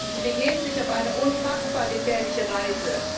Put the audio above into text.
Sie begeben sich auf eine unfassbar gefährliche Reise.